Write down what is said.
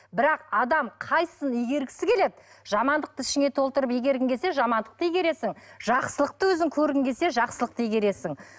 бірақ адам қайсысын игергісі келеді жамандықты ішіңе толтырып игергің келсе жамандықты игересің жақсылықты өзің көргің келсе жақсылықты игересің